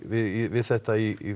við þetta í